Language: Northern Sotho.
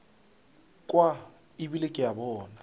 kwa ebile ke a bona